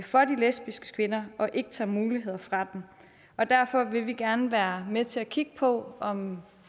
for de lesbiske kvinder og ikke tager muligheder fra dem og derfor vil vi gerne være med til at kigge på om